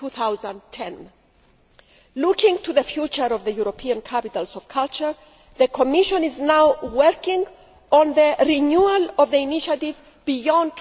2010. Looking to the future of the European capitals of culture, the Commission is currently working on renewal of the initiative beyond